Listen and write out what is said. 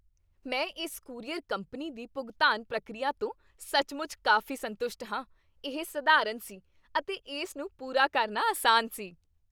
ਮੈਂ ਇਸ courier company ਦੀ ਭੁਗਤਾਨ ਪ੍ਰਕਿਰਿਆ ਤੋਂ ਸੱਚਮੁੱਚ ਕਾਫ਼ੀ ਸੰਤੁਸ਼ਟ ਹਾਂ। ਇਹ ਸਧਾਰਨ ਸੀ ਅਤੇ ਇਸ ਨੂੰ ਪੂਰਾ ਕਰਨਾ ਆਸਾਨ ਸੀ।